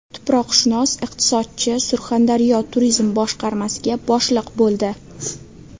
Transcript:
Tuproqshunos-iqtisodchi Surxondaryo turizm boshqarmasiga boshliq bo‘ldi.